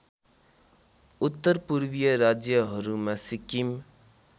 उत्तरपूर्वीय राज्यहरूमा सिक्किम